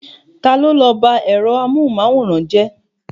Ta ló bá ẹ̀rọ amóhunmáwòrán jẹ́?